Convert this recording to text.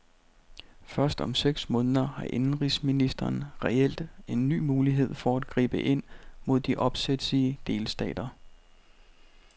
Først om seks måneder har indenrigsministeren reelt en ny mulighed for at gribe ind mod de opsætsige delstater.